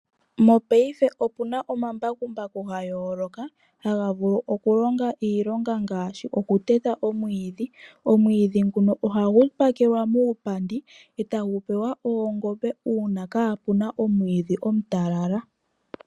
Mopaife opu na omambakumbaku ga yoloka haga vulu okulonga iilonga ngaashi okuteta omwiidhi. Omwiidhi nguno ohagu pakelwa muupandi, e tagu pewa oongombe uuna kaapu na omwiidhi omutalala.